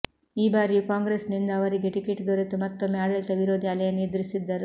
ಈ ಬಾರಿಯೂ ಕಾಂಗ್ರೆಸ್ನಿಂದ ಅವರಿಗೆ ಟಿಕೆಟ್ ದೊರೆತು ಮತ್ತೊಮ್ಮೆ ಆಡಳಿತ ವಿರೋಧಿ ಅಲೆಯನ್ನು ಎದುರಿಸಿದ್ದರು